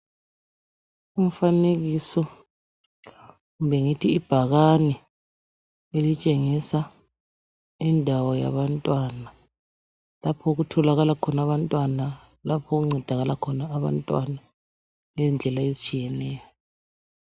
Umfanekiso kumbe ngithi ibhakane elitshengisa indawo yabantwana lapho okutholakala khona abantwana lapho okuncedakala khona abantwana ngendlela ezitshiyeneyo